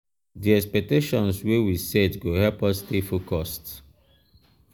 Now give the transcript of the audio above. di expectations wey we set go help us stay focused.